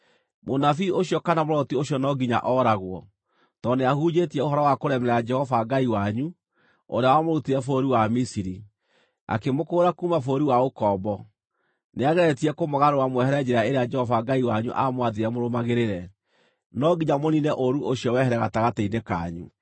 Mũnabii ũcio kana mũroti ũcio no nginya ooragwo, tondũ nĩahunjĩtie ũhoro wa kũremera Jehova Ngai wanyu, ũrĩa wamũrutire bũrũri wa Misiri, akĩmũkũũra kuuma bũrũri wa ũkombo; nĩageretie kũmũgarũra mwehere njĩra ĩrĩa Jehova Ngai wanyu aamwathire mũrũmagĩrĩre. No nginya mũniine ũũru ũcio wehere gatagatĩ-inĩ kanyu.